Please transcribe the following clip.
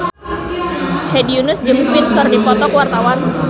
Hedi Yunus jeung Queen keur dipoto ku wartawan